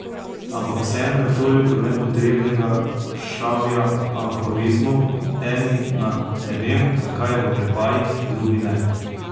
Ampak vseeno je toliko nepotrebnega šavja aforizmov, eni ne vem zakaj v oklepajih, drugi ne.